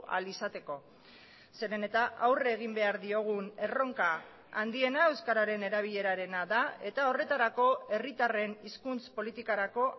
ahal izateko zeren eta aurre egin behar diogun erronka handiena euskararen erabilerarena da eta horretarako herritarren hizkuntz politikarako